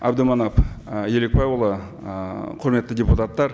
әбдіманап ы елікбайұлы ы құрметті депутаттар